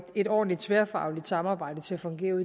et ordentligt tværfagligt samarbejde til at fungere